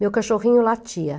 Meu cachorrinho latia.